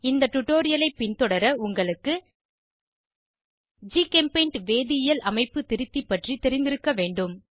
இந்த டுடோரியலை பின்தொடர உங்களுக்கு ஜிகெம்பெய்ண்ட் வேதியியல் அமைப்பு திருத்தி பற்றி தெரிந்திருக்க வேண்டும்